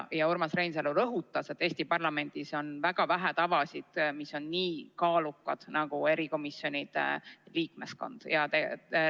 Urmas Reinsalu rõhutas, et Eesti parlamendis on väga vähe tavasid, mis on nii kaalukad nagu erikomisjonide liikmeskonna määramine.